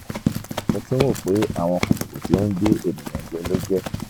mo tún rò pé àwọn kòkòrò tí ó ń gé ènìyàn jẹ ló jẹ́